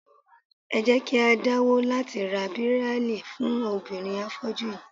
Ẹ jẹ́ kí á dáwọ́ láti ra Bíráílì fún obìnrin afọ́jú yí í.